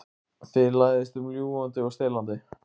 Þið læðist um ljúgandi og stelandi.